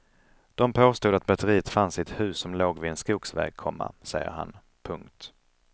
De påstod att batteriet fanns i ett hus som låg vid en skogsväg, komma säger han. punkt